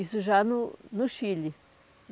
Isso já no no Chile.